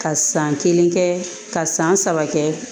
Ka san kelen kɛ ka san saba kɛ